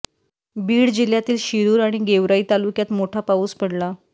बीड जिल्ह्यातील शिरुर आणि गेवराई तालुक्यात मोठा पाऊस पडला